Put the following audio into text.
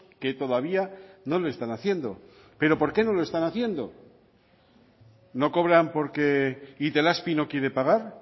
que todavía no lo están haciendo pero por qué no lo están haciendo no cobran porque itelazpi no quiere pagar